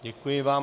Děkuji vám.